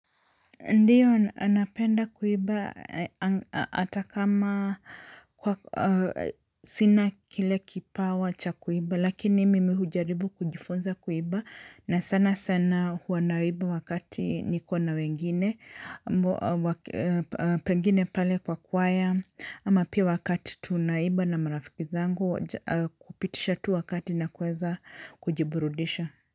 Ndiyo napenda kuiba ata kama sina kile kipawa cha kuiba lakini mimi hujaribu kujifunza kuiba na sana sana hua naiba wakati niko na wengine pengine pale pa kwaya ama pia wakati tunaiba na marafiki zangu kupitisha tu wakati na kuweza kujiburudisha.